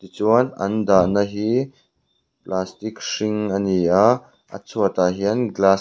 chuan an dahna hi plastic hring a ni a a chhuatah hian glass --